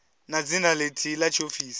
na dzina lithihi la tshiofisi